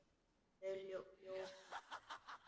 Þau ljómuðu ekki.